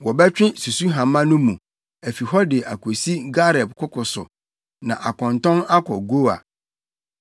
Wɔbɛtwe susuhama no mu, afi hɔ de akosi Gareb koko so, na akɔntɔn akɔ Goa.